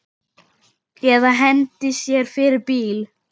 Eða hendi sér fyrir bíl.